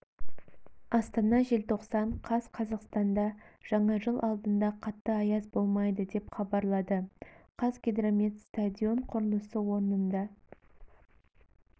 астана желтоқсан қаз қазақстанда жаңа жыл алдында қатты аяз болмайды деп хабарлады қазгидромет стадион құрылысы орнында